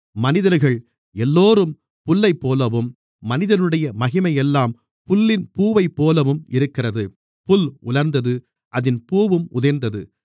மனிதர்கள் எல்லோரும் புல்லைப்போலவும் மனிதனுடைய மகிமையெல்லாம் புல்லின் பூவைப்போலவும் இருக்கிறது புல் உலர்ந்தது அதின் பூவும் உதிர்ந்தது